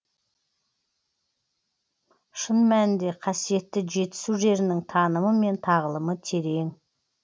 шын мәнінде қасиетті жетісу жерінің танымы мен тағылымы терең